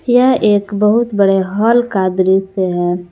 यह एक बहुत बड़े हाल का दृश्य है।